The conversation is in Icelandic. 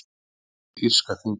Ólæti við írska þingið